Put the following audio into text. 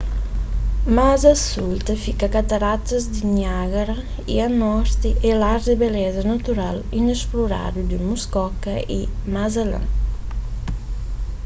más a sul ta fika kataratas di niágara y a norti é lar di beleza natural inesploradu di muskoka y más alén